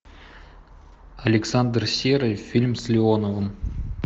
александр серый фильм с леоновым